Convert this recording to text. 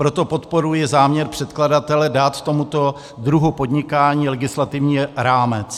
Proto podporuji záměr předkladatele dát tomuto druhu podnikání legislativní rámec.